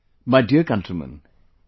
My dear countrymen,